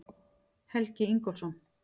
Helgi Ingólfsson.